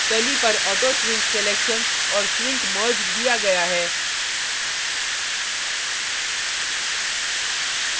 तली पर auto shrink selection और shrink merged दिया गया है